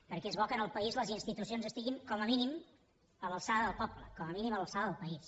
perquè és bo que en el país les institucions estiguin com a mínim a l’alçada del poble com a mínim a l’alçada del país